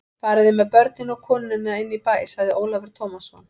Fariði með börnin og konuna inn í bæ, sagði Ólafur Tómasson.